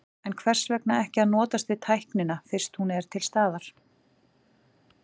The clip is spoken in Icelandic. En hvers vegna ekki að notast við tæknina fyrst hún er til staðar?